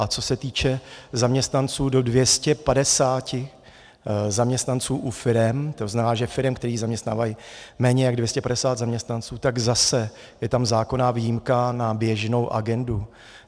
A co se týče zaměstnanců, do 250 zaměstnanců u firem, to znamená u firem, které zaměstnávají méně jak 250 zaměstnanců, tak zase je tam zákonná výjimka na běžnou agendu.